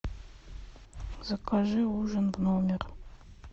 закажи ужин в номер